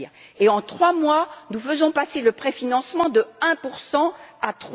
Et, en trois mois, nous faisons passer le préfinancement de 1 à